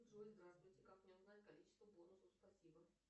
джой здравствуйте как мне узнать количество бонусов спасибо